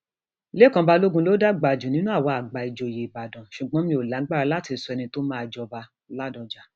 lẹkan balógun ló dàgbà jù nínú àwa àgbà ìjòyè ìbàdàn ṣùgbọn mi ò lágbára láti sọ ẹni tó máa jọbaládọjà